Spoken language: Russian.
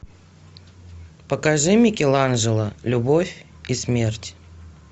покажи микеланджело любовь и смерть